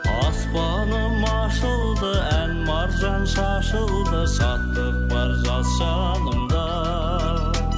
аспаным ашылды ән маржан шашылды шаттық бар жас жанымда